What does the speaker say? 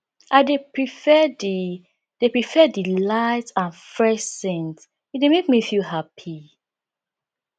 i dey prefer di dey prefer di light and fresh scents e dey make me feel happy